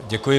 Děkuji.